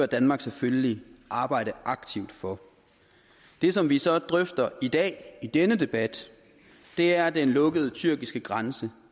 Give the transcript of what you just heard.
danmark selvfølgelig arbejde aktivt for det som vi så drøfter i dag i denne debat er den lukkede tyrkiske grænse